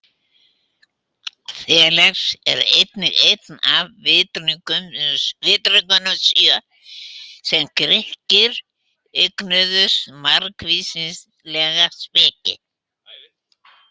Þales var einnig einn af vitringunum sjö, sem Grikkir eignuðu margvíslega speki.